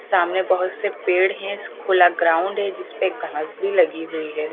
सामने बहुत से पेड़ है खुला ग्राउंड है जिसपे घास भी लगी हुई है।